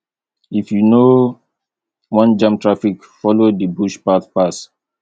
if you no wan jam traffic follow di bush path pass